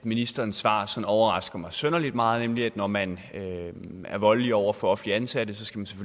ministerens svar sådan overrasker mig synderlig meget nemlig at når man er voldelig over for offentligt ansatte skal man